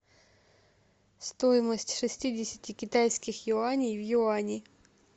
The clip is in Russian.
стоимость шестидесяти китайских юаней в юани